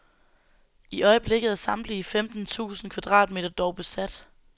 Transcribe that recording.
I øjeblikket er samtlige femten tusind kvadratmeter dog besat.